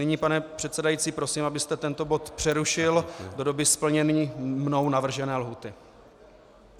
Nyní, pane předsedající, prosím, abyste tento bod přerušil do doby splnění mnou navržené lhůty.